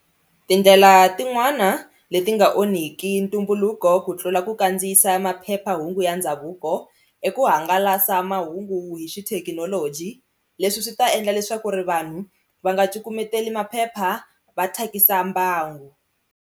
Tindlela tin'wana leti nga onhiki ntumbuluko ku tlula ku kandziyisa maphephahungu ya ndhavuko i ku hangalasa mahungu hi xithekinoloji leswi swi ta endla leswaku ri vanhu va nga cukumeteli maphepha va thyakisa mbangu.